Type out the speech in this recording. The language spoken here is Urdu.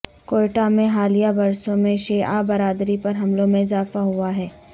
کوئٹہ میں حالیہ برسوں میں شیعہ برادری پر حملوں میں اضافہ ہوا ہے